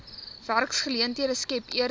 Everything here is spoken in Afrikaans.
werksgeleenthede skep eerder